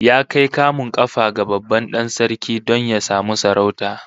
Ya kai kamun kafa ga babban dan sarki don ya samu sarauta?